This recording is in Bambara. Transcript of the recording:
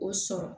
O sɔrɔ